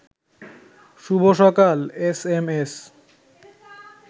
শুভ সকাল এসএমএস